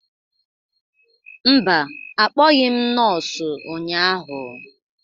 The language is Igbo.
Mba, akpọghị m nọọsụ ụnyahụ